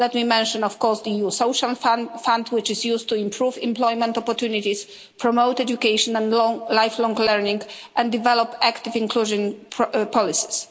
Let me mention, of course, the EU Social Fund, which is used to improve employment opportunities, promote education and lifelong learning and develop active inclusion policies.